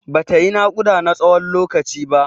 Bata yi naƙuda na tsawon lokaci ba.